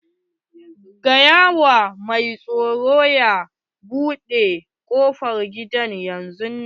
Faɗa wa mai tsaro ya buɗe ƙofar gida yanzun nan!